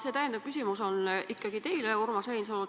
See täpsustav küsimus on ikkagi teile, Urmas Reinsalu.